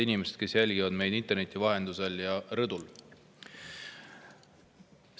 Head inimesed, kes te jälgite meid interneti vahendusel ja rõdul!